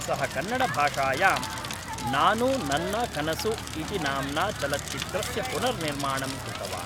सः कन्नडभाषायां नानु नन्ना कनसु इति नाम्ना चलच्चित्रस्य पुनर्निर्माणं कृतवान्